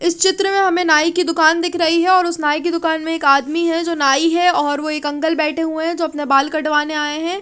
इस चित्र में हमे नई की दूकान दिख रही है और उस नई की दूकान में एक आदमी है जो नई है और वो एक अंकल बेठे हुए जो अपने बाल कटवाने आये हुए है।